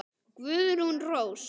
Guðrún Rós.